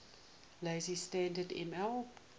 lazy standard ml